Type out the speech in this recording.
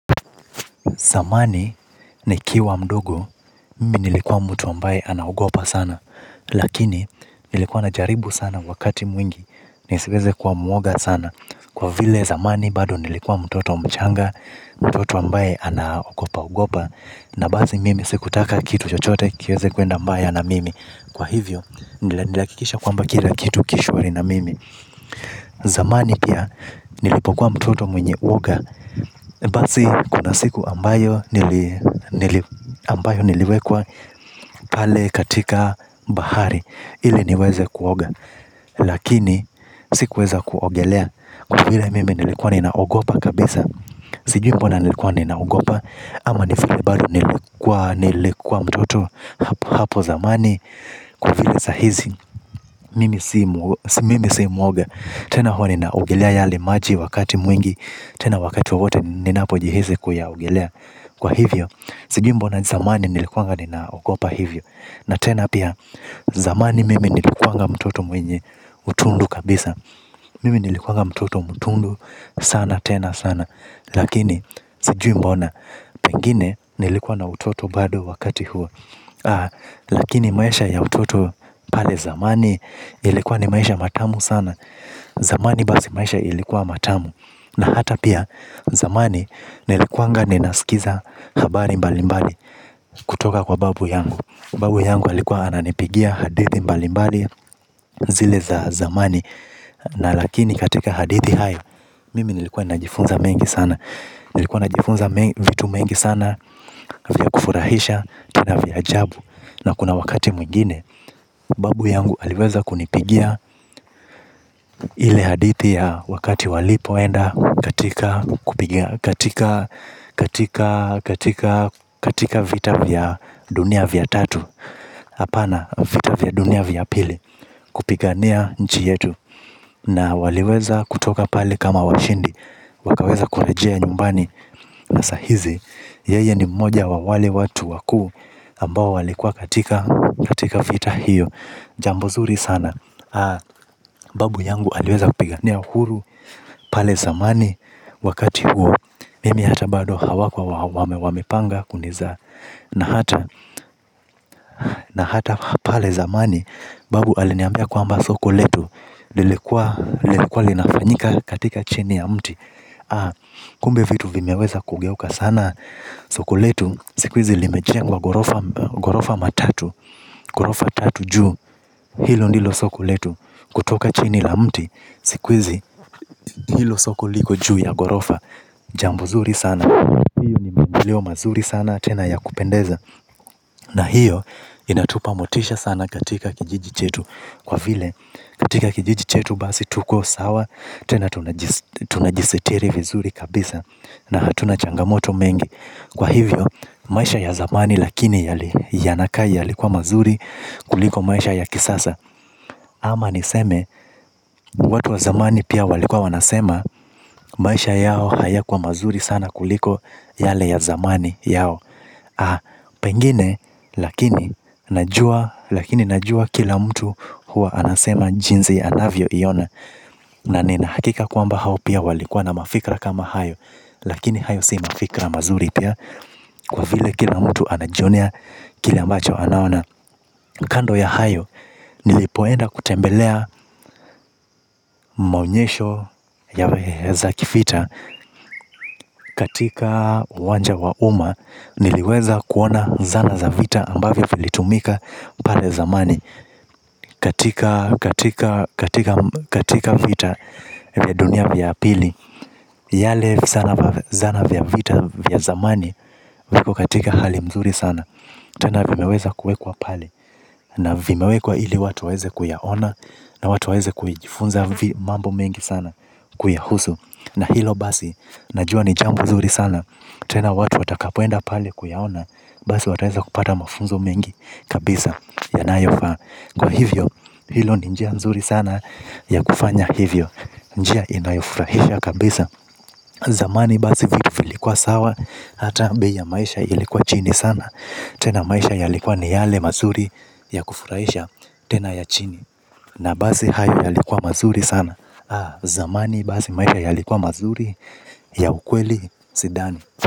Zamani nikiwa mdogo, mimi nilikuwa mtu ambaye anaogopa sana. Lakini, nilikuwa najaribu sana wakati mwingi. Nisiweze kuwa mwoga sana. Kwa vile zamani, bado nilikuwa mtoto mchanga, mtoto ambaye anaogopa ogopa. Na basi mimi sikutaka kitu chochote, kiweze kuenda mbaya na mimi. Kwa hivyo, nilihakikisha kwamba kila kitu ki shwari na mimi. Zamani pia, nilipokuwa mtoto mwenye uoga. Basi kuna siku ambayo niliwekwa pale katika bahari ili niweze kuoga. Lakini sikuweza kuogelea kwa vile mimi nilikuwa ninaogopa kabisa sijui mbona nilikuwa ninaogopa. Ama ni vile bado nilikuwa mtoto hapo zamani kwa vile sahizi mimi si mwoga. Tena huwa ninaogelea yale maji wakati mwingi. Tena wakati wowote ninapojihisi kuyaogelea kwa hivyo sijui mbona zamani nilikuanga ninaogopa hivyo. Na tena pia zamani mimi nilikuanga mtoto mwenye utundu kabisa. Mimi nilikuanga mtoto mtundu sana tena sana. Lakini sijui mbona pengine nilikuwa na utoto bado wakati huo. Lakini maisha ya utoto pale zamani ilikuwa ni maisha matamu sana. Zamani basi maisha ilikuwa matamu. Na hata pia zamani nilikuanga ninaskiza habari mbali mbali kutoka kwa babu yangu. Babu yangu alikuwa ananipigia hadithi mbali mbali zile za zamani. Na lakini katika hadithi hayo mimi nilikuwa najifunza mengi sana. Nilikuwa najifunza vitu mengi sana vya kufurahisha tena vya jabu. Na kuna wakati mwingine, babu yangu aliweza kunipigia ile hadithi ya wakati walipoenda katika vita vya dunia vya tatu hapana vita vya dunia vya pili kupigania nchi yetu. Na waliweza kutoka pale kama washindi, wakaweza kurejea nyumbani na sahizi. Yeye ni mmoja wa wale watu wakuu ambao walikua katika katika vita hiyo. Jambo zuri sana babu yangu aliweza kupigania uhuru pale zamani wakati huo, mimi hata bado hawakuwa wamepanga kunizaa. Na hata na hata pale zamani Babu aliniambia kwamba soko letu. Lilikua linafanyika katika chini ya mti. Kumbe vitu vimeweza kugeuka sana? Soko letu. Siku hizi limejengwa ghorofa matatu. Ghorofa tatu juu. Hilo ndilo soko letu. Kutoka chini la mti. Siku hizi hilo soko liko juu ya ghorofa. Jambo zuri sana. Hiyo ni mandeleo mazuri sana. Tena ya kupendeza. Na hiyo inatupa motisha sana katika kijiji chetu kwa vile katika kijiji chetu basi tuko sawa. Tena tunajisitiri vizuri kabisa. Na hatuna changamoto mengi. Kwa hivyo, maisha ya zamani lakini yanakaa yalikuwa mazuri kuliko maisha ya kisasa. Ama niseme, watu wa zamani pia walikuwa wanasema. Maisha yao hayakuwa mazuri sana kuliko yale ya zamani yao aha! Pengine, lakini najua kila mtu huwa anasema jinsi anavyoiona na nina hakika kwamba hao pia walikuwa na mafikra kama hayo. Lakini hayo si mafikra mazuri pia kwa vile kila mtu anajionea kile ambacho anaona. Kando ya hayo nilipoenda kutembelea maonyesho za kivita katika uwanja wa uma niliweza kuona zana za vita ambavyo vilitumika pale zamani katika vita vya dunia ya pili. Yale zana vya vita vya zamani viko katika hali nzuri sana. Tena vimeweza kuwekwa pale. Na vimewekwa ili watu waweze kuyaona na watu waweze kujifunza mambo mengi sana kuyahusu, na hilo basi najua ni jambo zuri sana. Tena watu watakapoenda pale kuyaona. Basi wataweza kupata mafunzo mengi. Kabisa yanayofaa kwa hivyo hilo ni njia nzuri sana ya kufanya hivyo njia inayofurahisha kabisa, zamani basi vitu vilikuwa sawa hata bei ya maisha ilikuwa chini sana. Tena maisha yalikuwa ni yale mazuri ya kufuraisha tena ya chini. Na basi hayo yalikuwa mazuri sana. Zamani basi maisha yalikuwa mazuri ya ukweli sidani.